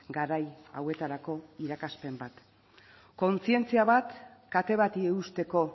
garai hauetarako irakaspen bat kontzientzia bat kate bati eusteko